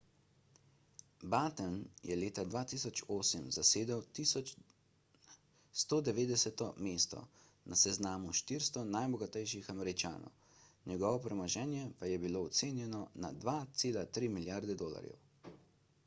batten je leta 2008 zasedel 190 mesto na seznamu 400 najbogatejših američanov njegovo premoženje pa je bilo ocenjeno na 2,3 milijarde dolarjev